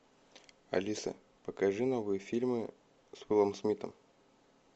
алиса покажи новые фильмы с уиллом смитом